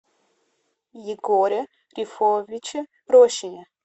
егоре рифовиче рощине